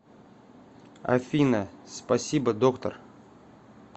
афина спасибо доктор